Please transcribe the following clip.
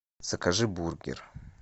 закажи бургер